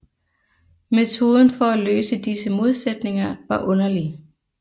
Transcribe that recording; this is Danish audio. Metoden for at løse disse modsætninger var underlig